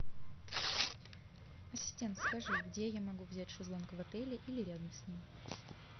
ассистент скажи где я могу взять шезлонг в отеле или рядом с ним